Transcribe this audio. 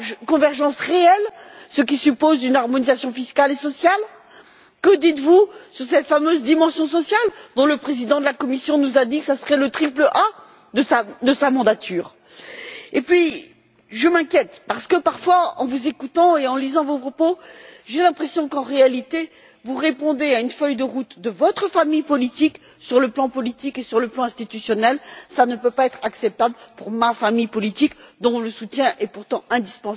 de convergence réelle, ce qui suppose une harmonisation fiscale et sociale? Que dites vous de cette fameuse dimension sociale dont le président de la Commission nous a dit qu'elle serait le triple A de sa mandature? Et puis, je m'inquiète parce que, parfois, en vous écoutant et en lisant vos propos, j'ai l'impression qu'en réalité, vous répondez à une feuille de route de votre famille politique, sur le plan politique et sur le plan institutionnel. Ce n'est pas acceptable pour ma famille politique, dont le soutien est pourtant indispensable à l'exercice du pouvoir par votre Commission.